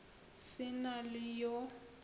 se na le yo a